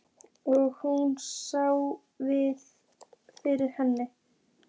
Og nú skálum við fyrir henni.